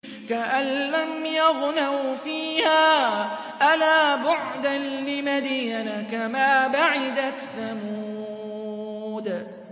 كَأَن لَّمْ يَغْنَوْا فِيهَا ۗ أَلَا بُعْدًا لِّمَدْيَنَ كَمَا بَعِدَتْ ثَمُودُ